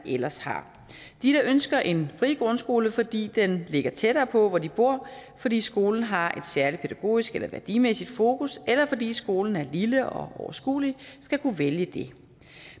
ellers har de der ønsker en fri grundskole fordi den ligger tættere på hvor de bor fordi skolen har et særligt pædagogisk eller værdimæssigt fokus eller fordi skolen er lille og overskuelig skal kunne vælge det